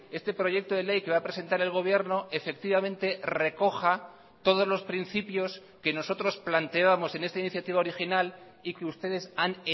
este proyecto de ley que va a presentar el gobierno efectivamente recoja todos los principios que nosotros planteábamos en esta iniciativa original y que ustedes han